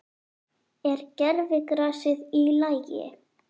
Er gervigrasið í lagi?